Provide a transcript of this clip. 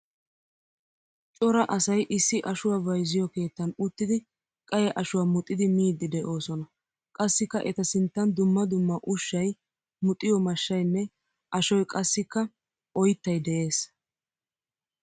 Cora asay isi ashuwaa bayzziyo keettan uttidi qaye ashuwaa muxxidi miiddi deosona. Qassikka eta sinttan dumma dumma ushshay muxiyo mashshaynne ashoy qassikka oyttay de'ees.